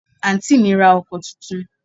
Àǹtí mi ra ọkọ̀ tuntun